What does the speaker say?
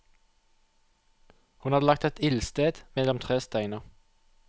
Hun hadde laget et ildsted mellom tre steiner.